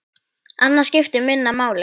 Annað skipti minna máli.